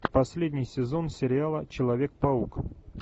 последний сезон сериала человек паук